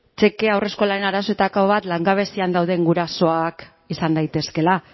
txeke haurreskolaren arazoetako bat langabezian dauden gurasoak izan daitezkeela